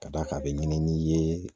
Ka d'a kan a bɛ ɲini n'i ye